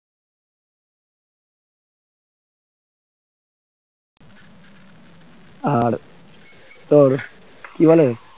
আর তোর কি বলে